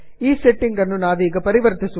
ಈ ಸೆಟ್ಟಿಂಗ್ ಅನ್ನು ನಾವೀಗ ಪರಿವರ್ತಿಸುವುದಿಲ್ಲ